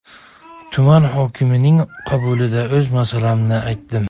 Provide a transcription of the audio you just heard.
Tuman hokimining qabulida o‘z masalamni aytdim.